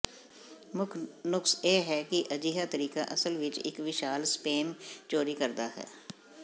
ਮੁੱਖ ਨੁਕਸ ਇਹ ਹੈ ਕਿ ਅਜਿਹਾ ਤਰੀਕਾ ਅਸਲ ਵਿੱਚ ਇੱਕ ਵਿਸ਼ਾਲ ਸਪੇਸ ਚੋਰੀ ਕਰਦਾ ਹੈ